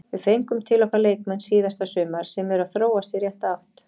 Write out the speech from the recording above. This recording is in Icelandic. Við fengum til okkar leikmenn síðasta sumar sem eru að þróast í rétta átt.